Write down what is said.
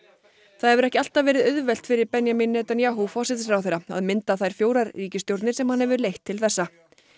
það hefur ekki alltaf verið auðvelt fyrir Benjamin Netanyahu að mynda þær fjórar ríkisstjórnir sem hann hefur leitt til þessa